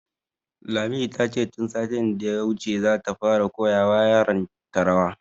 Lami, ta ce tun satin da ya wuce ta fara koya wa yaran ta rawa